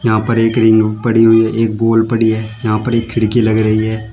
यहां पर एक रिंग पड़ी हुई है एक बॉल पड़ी है यहां पर एक खिड़की लग रही है।